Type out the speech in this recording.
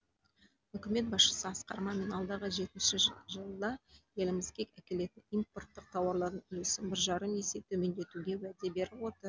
үкімет басшысы асқар мамин алдағы жетінші жылда елімізге әкелінетін импорттық тауарлардың үлесін бір жарым есе төмендетуге уәде беріп отыр